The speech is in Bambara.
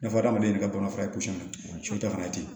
N'a fɔ adamaden yɛrɛ ka baganfana ye so ta fana ye ten